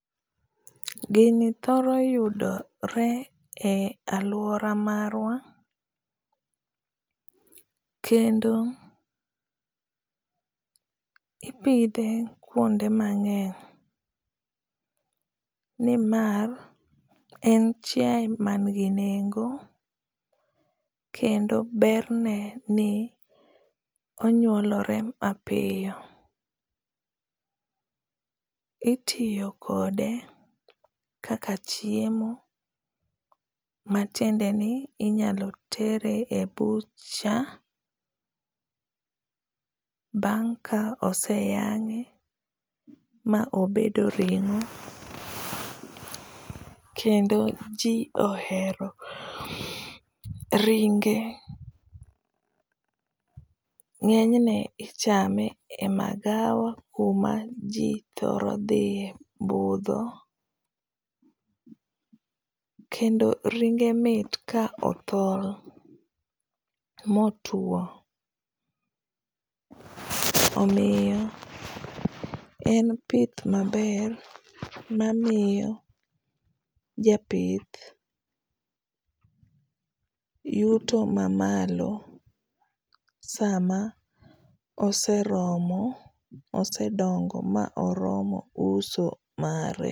Gini thoro yudore e aluora marwa kendo ipidhe kuonde mang'eny ni mar en chiae mangi nengo kendo berne ni onyuolore mapiyo. Itiyo kode kaka chiemo, ma tiende ni inyalo tere e butcher, bang ka oseyang’e mobedo ring’o kendo ji ohero ringe. Ngeny ichame e magawa kuma ji thoro dhie e budho kendo ringe mit ka othol motwo. Omiyo en pith maber ma miyo japith yuto ma malo sama oseromo, osedongo ma oromo uso mare.